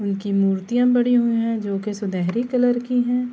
انکی مرتیہ بنی ہوئی ہے۔ جو کی سنہری کلر کی ہے-